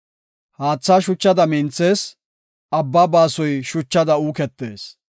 Haathay shuchada minthees; abba baasoy shachada uuketees.